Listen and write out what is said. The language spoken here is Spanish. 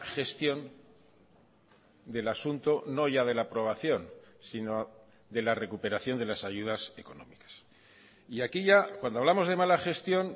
gestión del asunto no ya de la aprobación sino de la recuperación de las ayudas económicas y aquí ya cuando hablamos de mala gestión